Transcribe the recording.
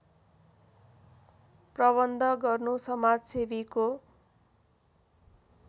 प्रबन्ध गर्नु समाजसेवीको